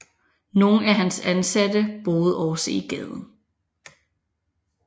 Nogle af hans ansatte boede også i gaden